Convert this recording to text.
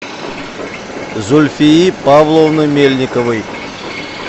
зульфии павловны мельниковой